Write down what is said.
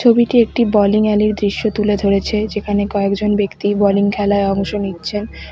ছবিটি একটি বোলিং এলির দৃশ্য তুলে ধরেছে যেখানে কয়েকজন ব্যক্তি বোলিং খেলায় অংশ নিচ্ছেন।